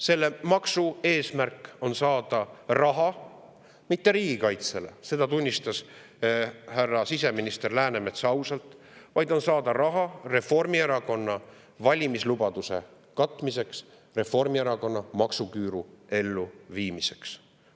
Selle maksu eesmärk on saada raha, aga mitte riigikaitsele – seda tunnistas siseminister härra Läänemets ausalt –, vaid Reformierakonna valimislubaduse katmiseks, Reformierakonna maksuküüru elluviimiseks.